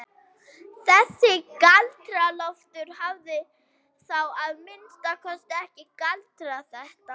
Þessi Galdra-Loftur hafði þá að minnsta kosti ekki galdrað þetta.